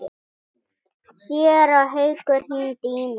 Séra Haukur hringdi í mig.